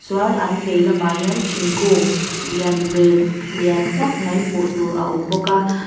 chuan an vei lamah hian thingkung lian ve lian tak mai hmuh tur a awm bawk a.